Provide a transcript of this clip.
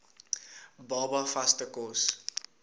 baba vaste kos